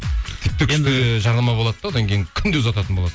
жарнама болады да одан кейін күнде ұзататын боласың